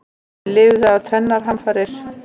Lifði af tvennar hamfarir